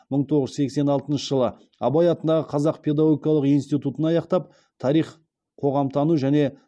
мың тоғыз жүз сексен алтыншы жылы абай атындағы қазақ педагогикалық институтын аяқтап тарих қоғамтану және